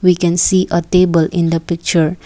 we can see a table in the picture.